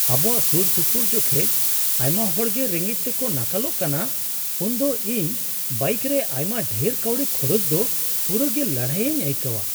ᱟᱵᱚᱣᱟᱜ ᱥᱩᱨᱥᱩᱯᱩᱨ ᱡᱚᱠᱷᱮᱡ ᱟᱭᱢᱟ ᱦᱚᱲ ᱜᱮ ᱨᱮᱸᱜᱮᱡ ᱛᱮᱠᱚ ᱱᱟᱠᱟᱞᱚᱜ ᱠᱟᱱᱟ ᱩᱱᱫᱚ ᱤᱧ ᱵᱟᱭᱤᱠ ᱨᱮ ᱟᱭᱢᱟ ᱰᱷᱮᱨ ᱠᱟᱹᱣᱰᱤ ᱠᱷᱚᱨᱚᱪ ᱫᱚ ᱯᱩᱨᱟᱹᱜᱮ ᱞᱟᱹᱲᱦᱟᱹᱭᱤᱧ ᱟᱹᱭᱠᱟᱹᱣᱟ ᱾